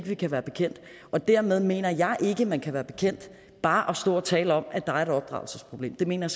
vi kan være bekendt og dermed mener jeg ikke man kan være bekendt bare stå og tale om at der er et opdragelsesproblem det mener